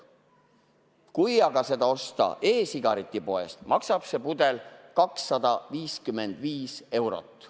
Kui see aga osta e-sigaretipoest, maksab see pudel 255 eurot.